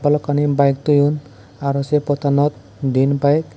balokkani bike toyon aro sey pottanot diyen bike.